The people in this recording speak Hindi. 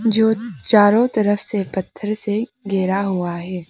जो चारों तरफ से पत्थर से घेरा हुआ है।